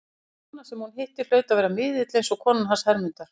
Og þessi kona sem hún hitti hlaut að vera miðill, eins og konan hans Hermundar.